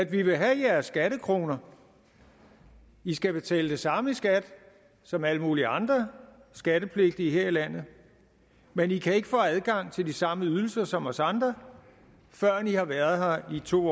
vi vil have jeres skattekroner i skal betale det samme i skat som alle mulige andre skattepligtige her i landet men i kan ikke få adgang til de samme ydelser som os andre førend i har været her i to